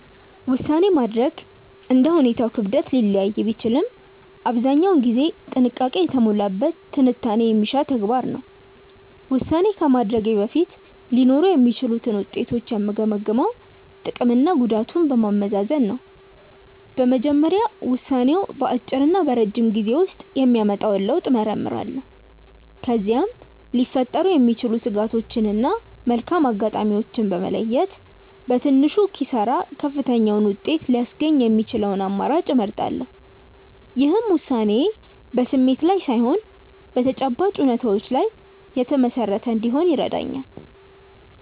ውሳኔ ማድረግ እንደ ሁኔታው ክብደት ሊለያይ ቢችልም አብዛኛውን ጊዜ ጥንቃቄ የተሞላበት ትንታኔ የሚሻ ተግባር ነው። ውሳኔ ከማድረጌ በፊት ሊኖሩ የሚችሉትን ውጤቶች የምገመግመው ጥቅምና ጉዳቱን በማመዛዘን ነው። በመጀመሪያ ውሳኔው በአጭርና በረጅም ጊዜ ውስጥ የሚያመጣውን ለውጥ እመረምራለሁ። ከዚያም ሊፈጠሩ የሚችሉ ስጋቶችን እና መልካም አጋጣሚዎችን በመለየት፣ በትንሹ ኪሳራ ከፍተኛውን ውጤት ሊያስገኝ የሚችለውን አማራጭ እመርጣለሁ። ይህም ውሳኔዬ በስሜት ላይ ሳይሆን በተጨባጭ እውነታዎች ላይ የተመሰረተ እንዲሆን ይረዳኛል።